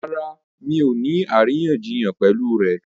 Ṣé ọ ní aríyànjiyàn pẹ̀lú rẹ̀?